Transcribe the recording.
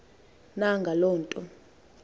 na ngaloo nto